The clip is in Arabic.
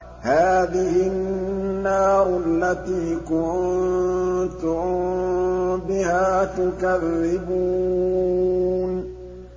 هَٰذِهِ النَّارُ الَّتِي كُنتُم بِهَا تُكَذِّبُونَ